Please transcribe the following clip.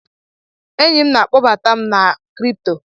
Enyi na-akpọbata m na kripto.